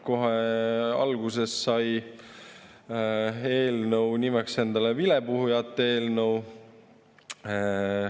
Kohe alguses sai eelnõu endale nimeks vilepuhujate eelnõu.